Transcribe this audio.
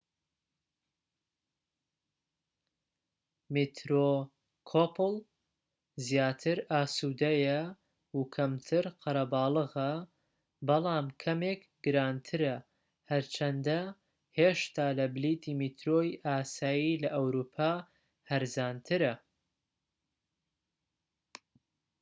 میترۆکۆپڵ زیاتر ئاسودەیە و کەمتر قەرەباڵغە بەڵام کەمێک گرانترە هەرچەندە هێشتا لە بلیتی میترۆی ئاسایی لە ئەوروپا هەرزانترە